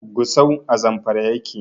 Gusau a Zamfara yake.